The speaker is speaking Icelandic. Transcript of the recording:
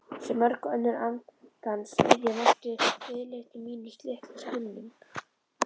Sem mörg önnur andans iðja mætti viðleitni mín litlum skilningi.